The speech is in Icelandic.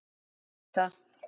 Hún vissi það.